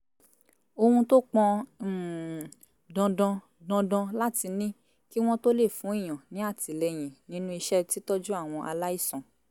ohun tó pọn um dandan dandan láti ní kí wọ́n tó lè fún èèyàn ní àtìlẹyìn nínú iṣẹ́ títọ́jú àwọn aláìsàn